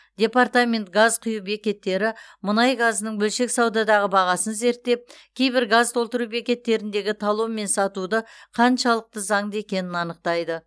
департамент газ құю бекеттері мұнай газының бөлшек саудадағы бағасын зерттеп кейбір газ толтыру бекеттеріндегі талонмен сатуды қаншалықты заңды екенін анықтайды